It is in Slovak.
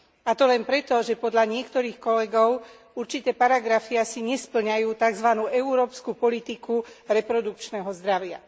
A to len preto, že podľa niektorých kolegov určité paragrafy asi nespĺňajú európsku politiku reprodukčného zdravia.